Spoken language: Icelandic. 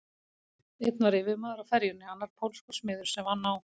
Einn var yfirmaður á ferjunni, annar pólskur smiður sem vann á